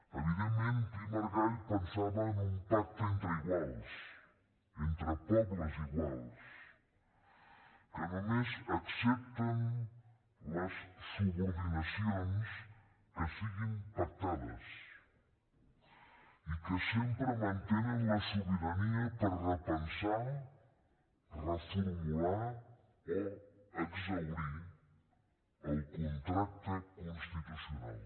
evidentment pi i margall pensava en un pacte entre iguals entre pobles iguals que només accepten les subordinacions que siguin pactades i que sempre mantenen la sobirania per repensar reformular o exhaurir el contracte constitucional